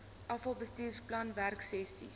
afal bestuursplan werksessies